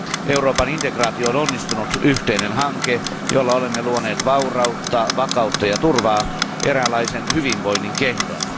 Euroopan integraatio on onnistunut yhteinen hanke, jolla olemme luoneet vaurautta, vakautta ja turvaa eräänlaisen hyvinvoinnin kehdon.